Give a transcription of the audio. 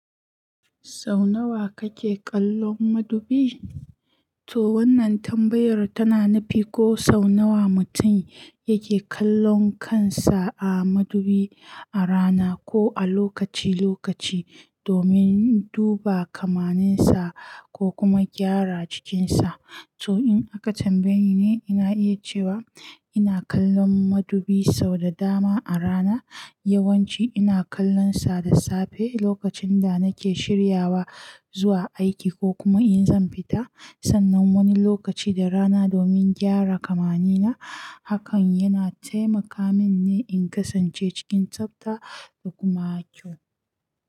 Sau nawa kake kallon madubi? To wannan tambayar tana nufi ko sau nawa mutum yake kallon kansa a madubi a rana ko a lokaci lokaci domin duba kamaninsa ko kuma gyara cikinsa. To in aka tambaye ni, ina iya cewa ina kallon madubi sau da dama a rana. Yawanci ina kallonsa da safe lokacin da nake shiryawa zuwa aiki ko kuma in zan fita sannan wani lokaci da rana domin gyara kamani na. Hakan yana taimaka mini in kasance cikin tsafta da kuma kyau.